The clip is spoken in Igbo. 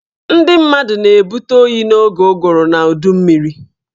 Ndị mmadụ na-ebute oyi n'oge ụgụrụ na udummiri